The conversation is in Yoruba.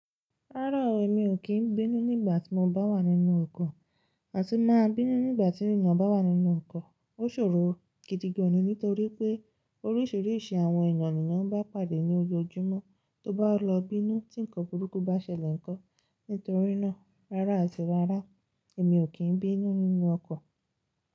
Rárá o, èmi o kí n bínú nígbà tí mo bá wà nínú ọkọ̀ àti máa bínú nígbà tí èèyàn bá wà nínú ọkọ̀. Ó ṣòro gidi gan ni nítorí pé orísìrísì àwọn èèyàn nì eeyan n bá pàdé ní ojoojúmọ́ tó bá lọ bínú tí nǹkan burúkú bá ṣẹlẹ̀ nko? Nítorínà rárá àti rárá èmi o kí n bínú nínú ọkọ̀.